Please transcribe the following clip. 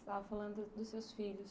Estava falando dos seus filhos.